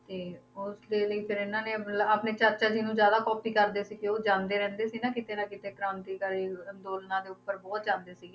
ਤੇ ਉਸਦੇ ਲਈ ਫਿਰ ਇਹਨਾਂ ਨੇ ਮਤਲਬ ਆਪਣੇ ਚਾਚਾ ਜੀ ਨੂੰ ਜ਼ਿਆਦਾ copy ਕਰਦੇ ਸੀ ਕਿ ਉਹ ਜਾਂਦੇ ਰਹਿੰਦੇ ਸੀ ਨਾ ਕਿਤੇ ਨਾ ਕਿਤੇ ਕ੍ਰਾਂਤੀਕਾਰੀ ਅੰਦੋਲਨਾਂ ਦੇ ਉੱਪਰ ਬਹੁਤ ਜਾਂਦੇ ਸੀ।